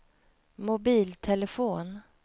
mobiltelefon